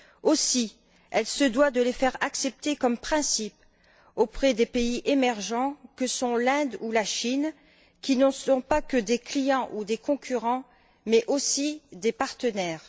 Aussi se doit elle de les faire accepter comme principes auprès des pays émergents que sont l'Inde ou la Chine, qui sont non seulement des clients ou des concurrents, mais aussi des partenaires.